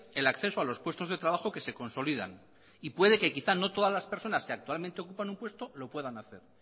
el acceso a los puestos de trabajo que se consolidan y puede que quizá no todas las personas que actualmente ocupan un puesto lo puedan hacer